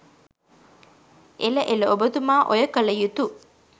එල එල ඔබතුමා ඔය කල යුතු